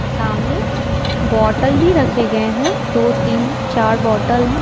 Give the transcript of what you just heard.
सामने बोतल भी रखे गए हैं दो तीन चार बोतल हैं।